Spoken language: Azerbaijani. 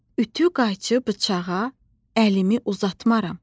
Ütü, qayçı, bıçağa əlimi uzatmaram.